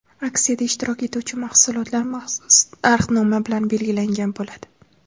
Aksiyada ishtirok etuvchi mahsulotlar maxsus narxnoma bilan belgilangan bo‘ladi.